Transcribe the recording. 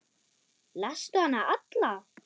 Lastu hana alla?